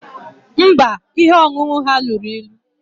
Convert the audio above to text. Mba, ihe ọṅụṅụ ha lụrụ ịlu